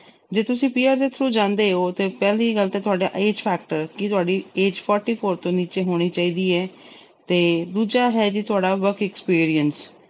ਜੇ ਤੁਸੀਂ PR ਦੇ ਜਾਂਦੇ through ਓ ਤਾਂ ਪਹਿਲੀ ਗੱਲ ਤਾਂ ਤੁਹਾਡਾ age factor ਕਿ ਤੁਹਾਡੀ age forty four ਤੋਂ ਨੀਚੇ ਹੋਣੀ ਚਾਹੀਦੀ ਏ ਤੇ ਦੂਜਾ ਹੈ ਜੀ ਤੁਹਾਡਾ work experience